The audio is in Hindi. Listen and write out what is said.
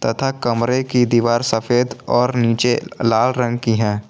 तथा कमरे की दीवार सफेद और नीचे लाल रंग की है।